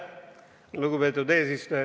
Lugupeetud eesistuja!